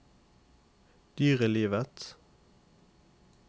dyrelivet